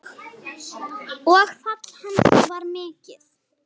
Og fall hans var mikið.